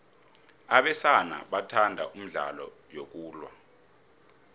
abesana bathanda imidlalo yokulwa